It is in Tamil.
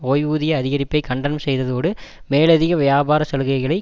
ஓய்வூதிய அதிகரிப்பை கண்டனம் செய்ததோடு மேலதிக வியாபார சலுகளைக்